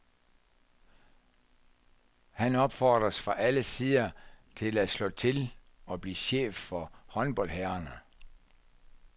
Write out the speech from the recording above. Han opfordres fra alle sider til at slå til og blive chef for håndboldherrerne.